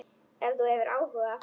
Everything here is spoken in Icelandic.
Ef þú hefur áhuga.